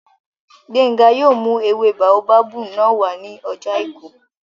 Gbénga yóò mú ewé báóbábù náà wá ní ọjọ́ àìkú